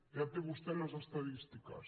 ja té vostè les estadístiques